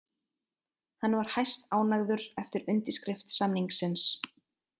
Hann var hæstánægður eftir undirskrift samningsins